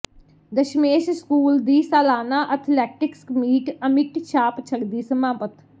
Dasmesh school ਦੀ ਸਾਲਾਨਾ athletics meet ਅਮਿੱਟ ਛਾਪ ਛੱਡਦੀ ਸਮਾਪਤ